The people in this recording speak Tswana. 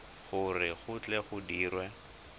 gore go tle go dirwe